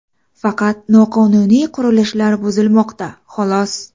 Faqat noqonuniy qurilishlar buzilmoqda, xolos.